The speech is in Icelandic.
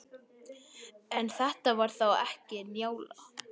En þetta var þá ekki Njála.